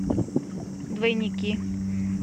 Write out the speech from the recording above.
двойники